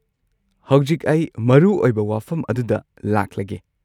ꯍꯧꯖꯤꯛ ꯑꯩ ꯃꯔꯨꯑꯣꯏꯕ ꯋꯥꯐꯝ ꯑꯗꯨꯗ ꯂꯥꯛꯂꯒꯦ꯫